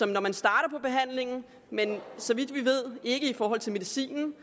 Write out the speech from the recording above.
når man starter på behandlingen men så vidt vi ved ikke i forhold til medicinen